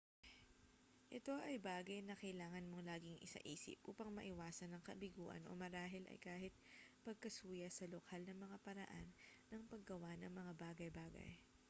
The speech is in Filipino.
ito ay bagay na kailangan mong laging isaisip upang maiwasan ang kabiguan o marahil ay kahit pagkasuya sa lokal na mga paraan ng paggawa ng mga bagay-bagay